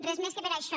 res més que per això